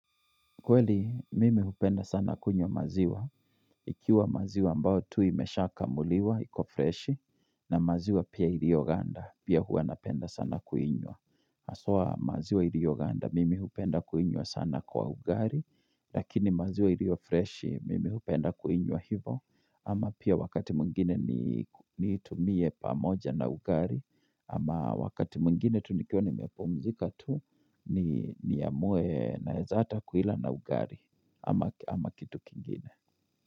Kweli, mimi hupenda sana kunywa maziwa. Ikiwa maziwa ambayo tu imeshakamuliwa, iko fresh, na maziwa pia iliyoganda, pia huwa napenda sana kuinywa. Haswa maziwa iliyoganda, mimi hupenda kuinywa sana kwa ugali, lakini maziwa iliyi freshi, mimi hupenda kuinywa hivo. Ama pia wakati mwingine nitumie pamoja na ugali ama wakati mwingine tu nikiwa nimepumzika tu Niamue naweza ata kuila na ugali ama kitu kingine.